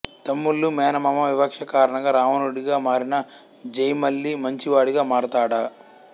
తమ్ముళ్లు మేనమామ వివక్ష కారణంగా రావణుడిగా మారిన జై మళ్లీ మంచివాడిగా మారతాడా